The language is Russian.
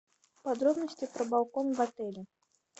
подробности про балкон в отеле